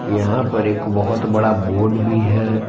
यहां पर एक बहुत बड़ा बोर्ड भी है।